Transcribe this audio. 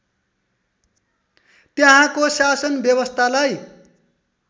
त्यहाँको शासन व्यवस्थालाई